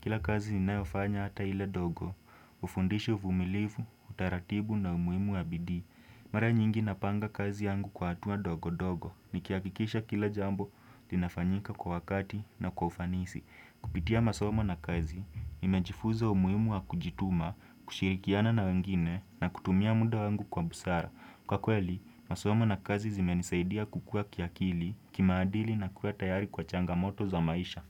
Kila kazi inayofanya hata ile dogo, ufundishi ufumilifu, utaratibu na umuimu wa bidi. Mare nyingi napanga kazi yangu kwa atua dogo dogo. Nikiakikisha kila jambo, tinafanyika kwa wakati na kwa ufanisi. Kupitia masomo na kazi, inajifuza umuimu wakujituma, kushirikiana na wengine na kutumia muda wangu kwa busara. Kwa kweli, masomo na kazi zimenisaidia kukua kiakili kimaadili na kuwa tayari kwa changamoto za maisha.